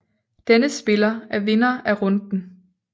Denne spiller er vinder af runden